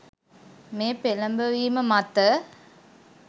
මේ පෙළඹවීම මත